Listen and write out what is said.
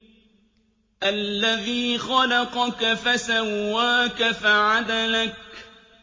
الَّذِي خَلَقَكَ فَسَوَّاكَ فَعَدَلَكَ